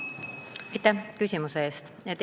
Aitäh küsimuse eest!